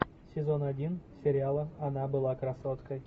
сезон один сериала она была красоткой